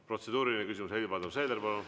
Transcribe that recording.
Protseduuriline küsimus, Helir-Valdor Seeder, palun!